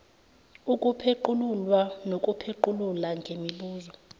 ukupheqululwa nokuphequlula ngemibuzo